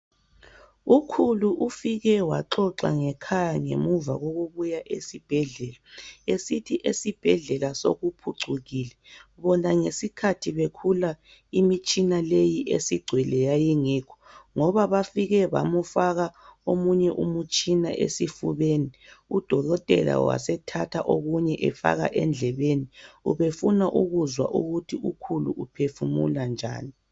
Ukhulu ufike waxoxa ngekhaya mgemuva kokubuya esibhedlela. Esithi esibhedlela sokuphucukile bona ngesikhathi bekhula imitshina leyi esigcwele yayingekho. Ngoba bafike bamufaka omunye umutshina esifubeni, udokotela wasethatha okunye efaka endlebeni ubefuna ukuzwa ukuthi ukhulu uphefumula njani.